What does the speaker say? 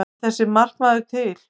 En þessi markaður er til.